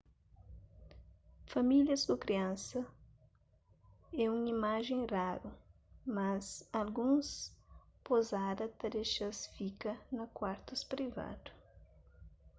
famílias ku kriansas é un imajen raru mas alguns pozada ta dexa-s fika na kuartus privadu